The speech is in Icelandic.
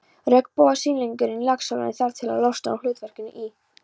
Regnbogasilungurinn í Laxalóni þarf því að losna úr hlutverkinu í